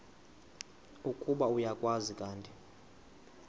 ukuba uyakwazi kanti